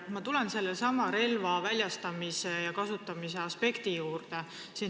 Ma tulen sellesama relva väljastamise ja kasutamise aspekti juurde.